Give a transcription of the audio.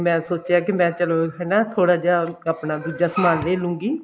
ਮੈਂ ਸੋਚਿਆ ਕੀ ਮੈਂ ਚਲੋ ਹਨਾ ਥੋੜਾ ਜਿਹਾ ਆਪਣਾ ਦੁੱਜਾ ਸਮਾਨ ਲੈਲੂੰਗੀ